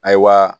A ye wa